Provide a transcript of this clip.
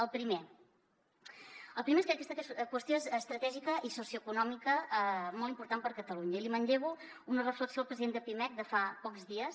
el primer és que aquesta qüestió estratègica i socioeconòmica és molt important per a catalunya i manllevo una reflexió del president de pimec de fa pocs dies